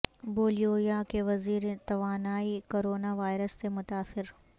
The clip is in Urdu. بولیویا کے وزیر توانائی کورونا وائرس سے متاثر